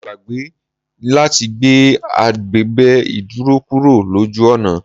Mo gbàgbé ni láti gbé abèbè ìdúró kúrò lójú ọ̀nà.